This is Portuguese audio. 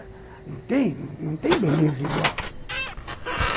Não tem, não tem beleza igual.